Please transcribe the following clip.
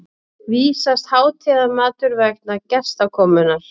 vísast hátíðarmatur vegna gestakomunnar.